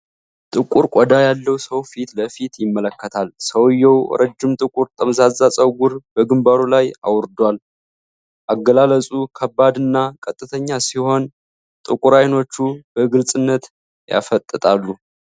ጥቁር ቆዳ ያለው ሰው ፊት ለፊት ይመለከታል። ሰውየው ረጅም ጥቁር ጠምዛዛ ፀጉር በግንባሩ ላይ አውርዷል። አገላለጹ ከባድ እና ቀጥተኛ ሲሆን፣ ጥቁር ዓይኖቹ በግልጽነት ያፈጣጥራሉ።